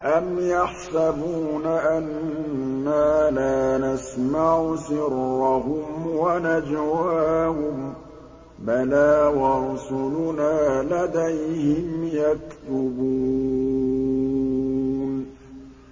أَمْ يَحْسَبُونَ أَنَّا لَا نَسْمَعُ سِرَّهُمْ وَنَجْوَاهُم ۚ بَلَىٰ وَرُسُلُنَا لَدَيْهِمْ يَكْتُبُونَ